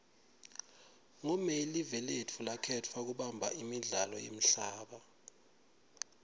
ngo may live lotfu lakhetfwa kubamba imidlalo yemhlaba